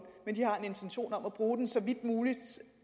men de har en intention om at bruge den så vidt muligt